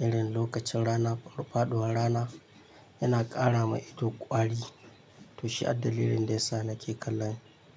irin lokacin rana faɗuwar rana yana ƙara ma ido ƙwari to shi addalilin da yasa nake kallon.